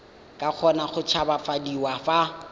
ka kgona go tshabafadiwa fa